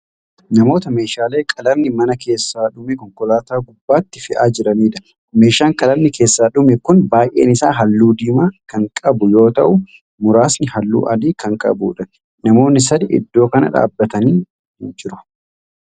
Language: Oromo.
Namoota meeshaalee qalamni manaa keessaa dhume konkolaataa gubbaatti fe'aa jiraniidha. meeshaan qalamni keessaa dhume Kuni baay'een Isaa halluu diimaa Kan qabu yoo ta'u muraasni halluu adii Kan qabudha. namoonni sadi iddoo kana dhaabatanii jiru.